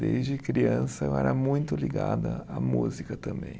Desde criança eu era muito ligado à música também.